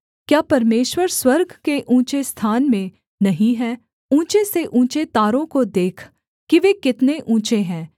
क्या परमेश्वर स्वर्ग के ऊँचे स्थान में नहीं है ऊँचे से ऊँचे तारों को देख कि वे कितने ऊँचे हैं